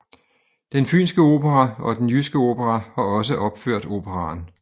Den Fynske Opera og Den Jyske Opera har også opført operaen